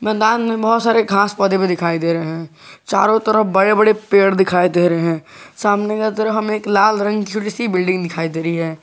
मैदान में बहुत सारे घास पौधे में दिखाई दे रहे हैं चारों तरफ बड़े बड़े पेड़ दिखाई दे रहे हैं सामने की तरफ हमे एक लाल रंग की एक छोटी सी बिल्डिंग दिखाई दे रही है।